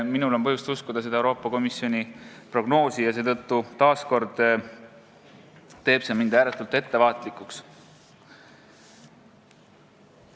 Minul on põhjust uskuda Euroopa Komisjoni prognoosi ja see teeb mind ääretult ettevaatlikuks.